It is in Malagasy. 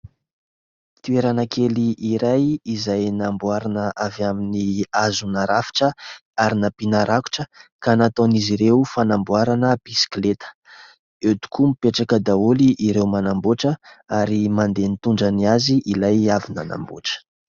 Toerana kely iray izay namboarina avy amin'ny hazo narafitra ary nampiana rakotra ka nataon'izy ireo fanamboarana bisikileta. Eo tokoa mipetraka daholo ireo manambotra ary mandeha nitondra ny azy ilay avy nanamboatra.